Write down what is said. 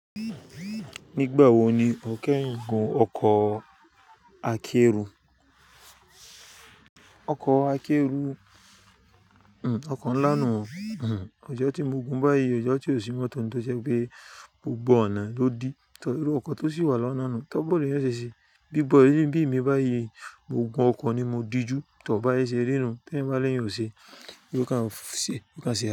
Nígbà wo ni ọkẹ́yin gun ọkọ̀ akẹ́rù? Ọkọ̀ akẹ́rù, ọkọ̀ ńlá nù, ọjọ́ tí mo gun báyìí, ọjọ́ tí òṣì mọ́tò tó ṣẹ́ pé gbogbo ọ̀nà ló di, tọ irú ọkọ̀ tó sì wà lọ́nà nù, tọ́ bọ̀ léyìn ọ ṣèṣì, bí bọ̀ léyìn bí mi báyìí, mo gun ọkọ̀ ni mo dijú tọ báyìí ṣe rírun tí ẹ̀ bá léyìn ò ṣe, yi o kan ṣè, yi o kan ṣe à.